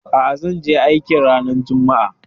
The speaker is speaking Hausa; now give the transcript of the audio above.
A'a, zanje aikin ranar juma'a